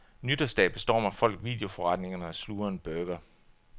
Nytårsdag bestormer folk videoforretningerne og sluger en burger.